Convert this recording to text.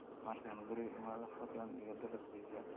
Markaan guriga imaado, fadlan iga dalb pizza